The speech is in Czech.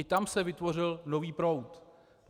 I tam se vytvořil nový proud.